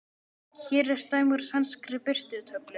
Hér er dæmi úr sænskri birtutöflu